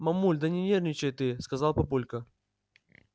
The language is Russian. мамуль да не нервничай ты сказал папулька